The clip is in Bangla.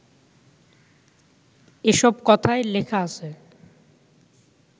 এসব কথাই লেখা আছে